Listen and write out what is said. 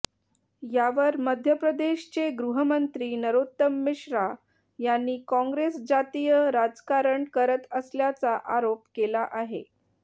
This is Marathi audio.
यावर मध्यप्रदेशचे गृहमंत्री नरोत्तम मिश्रा यांनी काँग्रेस जातीय राजकारण करत असल्याचा आरोप केला आहे